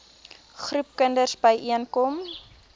groepe kinders byeenkom